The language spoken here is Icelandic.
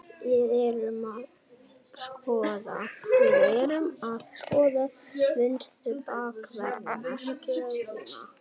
Við erum að skoða vinstri bakvarðar stöðuna.